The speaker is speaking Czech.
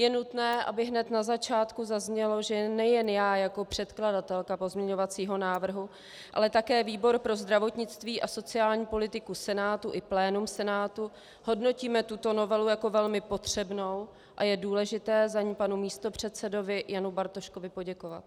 Je nutné, aby hned na začátku zaznělo, že nejen já jako předkladatelka pozměňovacího návrhu, ale také výbor pro zdravotnictví a sociální politiku Senátu i plénum Senátu hodnotíme tuto novelu jako velmi potřebnou a je důležité za ni panu místopředsedovi Janu Bartoškovi poděkovat.